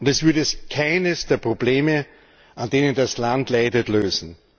Und es würde keines der Probleme, an denen das Land leidet, lösen.